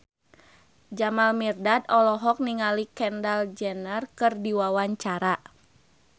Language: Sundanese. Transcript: Jamal Mirdad olohok ningali Kendall Jenner keur diwawancara